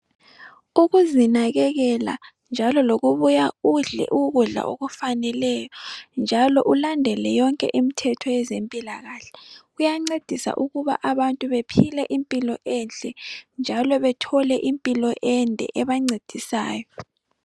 Ukuzinakekela njalo lokubuya udle ukudla okufaneleyo njalo ulandele yonke imthetho yezempilakahle kuyancedisa abantu ukuba bephile impilo enhle, njalo bethole impilo ende ebancedisayo.